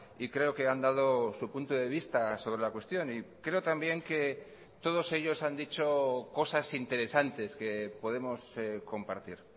y creo que han dado su punto de vista sobre la cuestión y creo también que todos ellos han dicho cosas interesantes que podemos compartir